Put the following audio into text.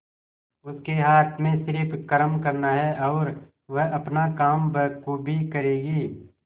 उसके हाथ में सिर्फ कर्म करना है और वह अपना काम बखूबी करेगी